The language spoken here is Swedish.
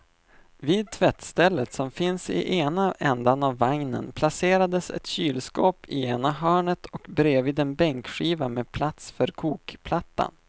Vid tvättstället som finns i ena ändan av vagnen placerades ett kylskåp i ena hörnet och bredvid en bänkskiva med plats för kokplattan.